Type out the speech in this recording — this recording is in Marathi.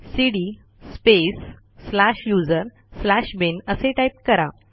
CD space slash user slash bin असे टाईप करा